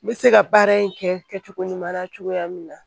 N bɛ se ka baara in kɛ cogo ɲuman na cogoya min na